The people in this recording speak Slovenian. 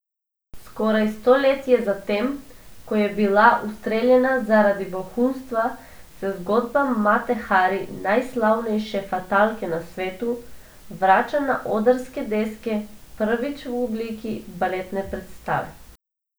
Skoraj stoletje zatem, ko je bila ustreljena zaradi vohunstva, se zgodba Mate Hari, najslavnejše fatalke na svetu, vrača na odrske deske, prvič v obliki baletne predstave.